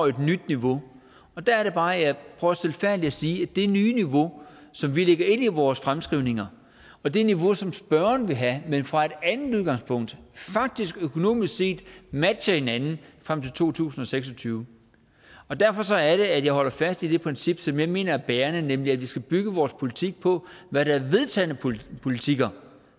et nyt niveau og der er det bare jeg prøver stilfærdigt at sige at det nye niveau som vi lægger ind i vores fremskrivninger og det niveau som spørgeren vil have men fra et andet udgangspunkt faktisk økonomisk set matcher hinanden frem til to tusind og seks og tyve derfor er det at jeg holder fast i det princip som jeg mener er bærende nemlig at vi skal bygge vores politik på hvad der er vedtagne politikker politikker